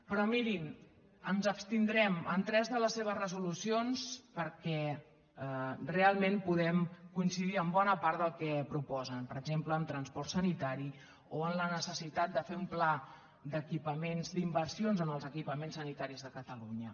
però mirin ens abstindrem en tres de les seves resolucions perquè realment podem coincidir amb bona part del que proposen per exemple en transport sanitari o en la necessitat de fer un pla d’equipaments d’inversions en els equipaments sanitaris de catalunya